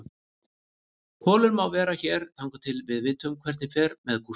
Kolur má vera hér þangað til við vitum hvernig fer með Gústa.